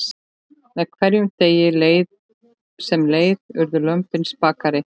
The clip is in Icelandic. Með hverjum degi sem leið urðu lömbin spakari.